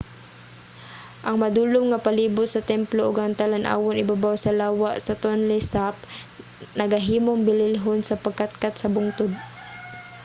ang madulom nga palibut sa templo ug ang talan-awon ibabaw sa lawa sa tonle sap nagahimong bililhon sa pagkatkat sa bungtod